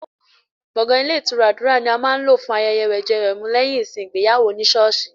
Gbọ̀ngàn Ilé ìtura Àdúrà ni a máa ń lò ilé fún ayẹyẹ wẹ̀jẹwẹ̀mu lẹ́yìn ìsìn ìgbéyàwó ní sọ́ọ̀sì.